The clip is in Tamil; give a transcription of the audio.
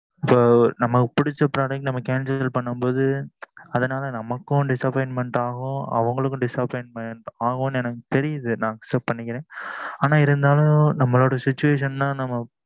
நம்மளுக்கு பிடிச்ச product concel பண்ணும் போது நமக்கும் disappointment ஆகும் அவுங்களும் disappointment ஆகும் எனக்கு தெரிது நா accept பண்ணிக்கிறேன் ஆன இருந்தாலும் நம்ம situvation தான்